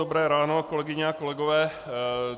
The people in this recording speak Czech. Dobré ráno, kolegyně a kolegové.